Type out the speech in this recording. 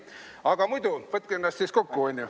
Aga muidu võtke ennast siis kokku, on ju.